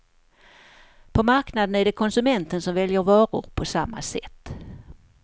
På marknaden är det konsumenten som väljer varor på samma sätt.